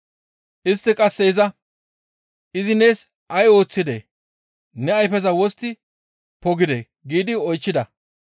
Istti qasse iza, «Izi nees ay ooththidee? Ne ayfeza wostti pogidee?» giidi oychchida